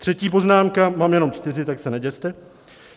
Třetí poznámka, mám jenom čtyři, tak se neděste.